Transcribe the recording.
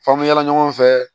F'an bɛ yaala ɲɔgɔn fɛ